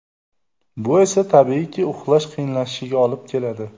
Bu esa, tabiiyki, uxlash qiyinlashishiga olib keladi.